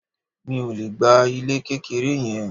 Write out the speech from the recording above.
Mi ò le gba ilé kékeré yẹn.